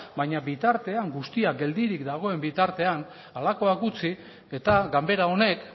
baina bitartean guztia geldirik dagoen bitartean halakoak gutxi eta ganbera honek